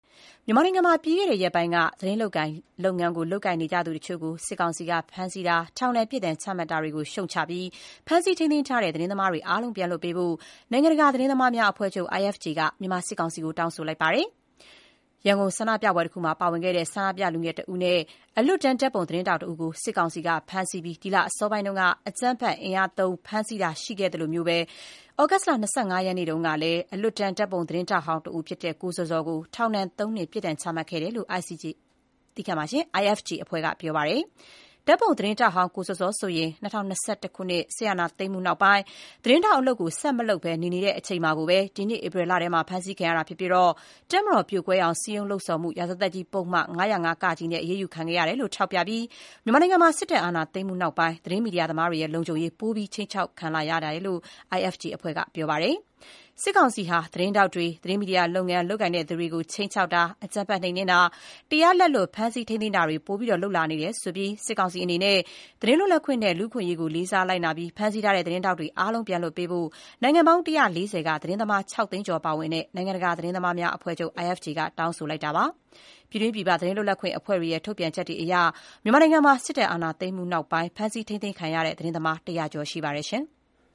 မြန်မာနိုင်ငံမှာ ပြီးခဲ့တဲ့ရက်ပိုင်းက သတင်းလုပ်ငန်းလုပ်ကိုင်နေသူတချို့ကို စစ်ကောင်စီက ဖမ်းဆီးတာ၊ ထောင်ဒဏ် ပြစ်ဒဏ်ချမှတ်တာတွေကို ရှုတ်ချပြီး ဖမ်းဆီးထိန်းသိမ်းထားတဲ့သတင်းသမားအားလုံး ပြန်လွှတ်ပေးဖို့ နိုင်ငံတကာ သတင်းသမားများအဖွဲ့ချုပ် IFJ က မြန်မာစစ်ကောင်စီကို တောင်းဆိုလိုက်ပါတယ်။ ရန်ကုန်ဆန္ဒပြပွဲတခုမှာပါဝင်ခဲ့တဲ့ ဆန္ဒပြလူငယ်တဦးနဲ့ အလွတ်တန်းဓာတ်ပုံ သတင်းထောက်တဦးကို စစ်ကောင်စီက ဒီလအစောပိုင်းက အကြမ်းဖက် အင်အားသုံး ဖမ်းဆီးတာရှိခဲ့သလို သြဂုတ်လ ၂၅ ရက်၊ မနေ့တုန်းကတော့ အလွတ်တန်း ဓာတ်ပုံသတင်းထောက်ဟောင်းတဦးဖြစ်တဲ့ ကိုဇော်ဇော်ကို ထောင်ဒဏ် ၃ နှစ် ပြစ်ဒဏ် ချမှတ်ခဲ့တယ်လို့ IFJ အဖွဲ့က ပြောပါတယ်။ ဓာတ်ပုံ သတင်းထောက်ဟောင်း ကိုဇော်ဇော်ဆိုရင် ၂၀၂၁ စစ်အာဏာသိမ်းမှု နောက်ပိုင်း သတင်းထောက် အလုပ် ဆက်မလုပ်ဘဲ နေ နေတဲ့အချိန် ဒီနှစ် ဧပြီလထဲ ဖမ်းဆီးခံရတာဖြစ်ပါတယ်။ တပ်မတော်ပြိုကွဲအောင် စည်းရုံးလှုံ့ဆော်မှု ရာဇသတ်ကြီး ပုဒ်မ ၅၀၅ (က) နဲ့ သူ့ကို အရေးယူခံခဲ့ရတယ်လို့ ထောက်ပြပြီး မြန်မာနိုင်ငံမှာ စစ်တပ် အာဏာသိမ်းမှု နောက်ပိုင်း သတင်းမီဒီယာသမားတွေရဲ့ လုံခြုံရေး ပိုပြီး ခြိမ်းခြောက်ခံလာ နေရတယ်လို့ IFJ အဖွဲ့က ပြောပါတယ်။ စစ်ကောင်စီဟာ သတင်းထောက်တွေ၊ သတင်းမီဒီယာလုပ်ငန်း လုပ်ကိုင်သူတွေကို ခြိမ်းခြောက်တာ၊ အကြမ်းဖက် နှိမ်နင်းတာ၊ တရားလက်လွတ် ဖမ်းဆီး ထိန်းသိမ်းတာတွေ ပိုမို လုပ်လာနေတယ်လို့ ဆိုပြီး စစ်ကောင်စီအနေနဲ့ သတင်းလွတ်လပ် ခွင့်နဲ့ လူ့အခွင့်အရေးကို လေးစားလိုက်နာပြီး ဖမ်းဆီးထားတဲ့ သတင်းထောက်တွေ အားလုံးပြန်လွတ်ပေးဖို့ နိုင်ငံပေါင်း ၁၄၀ က သတင်းသမား ၆ သိန်းကျော် ပါဝင်တဲ့ နိုင်ငံတကာ သတင်းသမားများ အဖွဲ့ချုပ် IFJ က တောင်းဆိုပါတယ်။ ပြည်တွင်း ပြည်ပ သတင်းလွတ်လပ်ခွင့်အဖွဲ့တွေရဲ့ ထုတ်ပြန်ချက်တွေအရ မြန်မာနိုင်ငံမှာ စစ်တပ်အာဏာသိမ်းမှု နောက်ပိုင်း ဖမ်းဆီး ထိန်းသိမ်းခံရတဲ့ သတင်းသမား ၁၀၀ ကျော် ရှိပါတယ်။